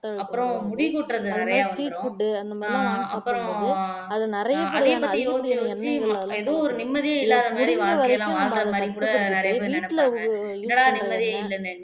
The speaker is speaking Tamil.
அப்புறம் முடி கொட்டுறது நிறையா வந்துரும் அப்புறம் ஆஹ் அது பத்தியே யோசிச்சு யோசிச்சு எதோ ஒரு நிம்மதியே இல்லாம வாழ்க்கைல வாழறமாறிக்கூட நிறைய பேர் நினைப்பாங்க என்னடா நிம்மதியே இல்லன்னு